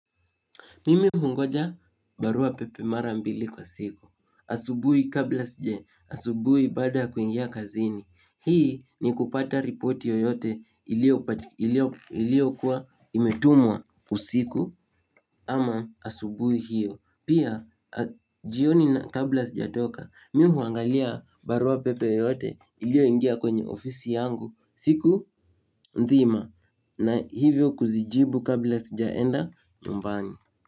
Mimi hungoja baruapepe mara mbili kwa siku. Asubui kabla sija, asubui baada ya kuingia kazini. Hii ni kupata ripoti yoyote ilio kuwa imetumwa usiku ama asubui hiyo. Pia, jioni na kabla sijatoka, mimi huangalia baruapepe yoyote ilioingia kwenye ofisi yangu siku nzima na hivyo kuzijibu kabla sijaenda nyumbani.